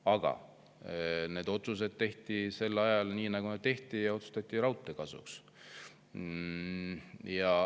Aga need otsused tehti sel ajal nii, nagu tehti, ja otsustati raudtee kasuks.